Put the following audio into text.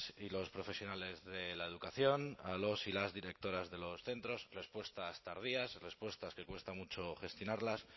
y los profesionales de la educación a los y las directoras de los centros respuestas tardías respuestas que cuesta mucho gestionarlas